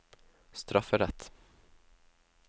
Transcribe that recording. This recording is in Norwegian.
strafferett